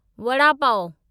vada pav